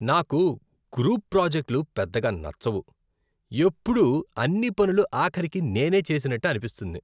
నాకు గ్రూప్ ప్రాజెక్టులు పెద్దగా నచ్చవు, ఎప్పుడూ అన్ని పనులు ఆఖరికి నేనే చేసినట్టు అనిపిస్తుంది.